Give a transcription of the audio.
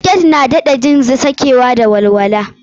Siket na sa ka jin sakewa da walwala.